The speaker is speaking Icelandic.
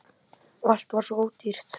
Og allt var svo ódýrt!